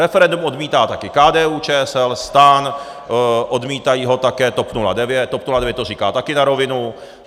Referendum odmítá také KDU-ČSL, STAN, odmítají ho také TOP 09, TOP 09 to říká také na rovinu.